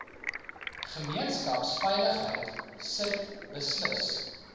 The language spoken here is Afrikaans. gemeenskapsveiligheid sit beslis